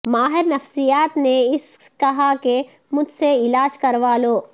ماہر نفسیات نے اسے کہا کہ مجھ سے علاج کروا لو